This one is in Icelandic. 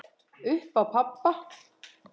Upp á pabba.